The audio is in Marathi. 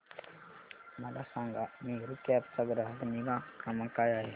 मला सांगा मेरू कॅब चा ग्राहक निगा क्रमांक काय आहे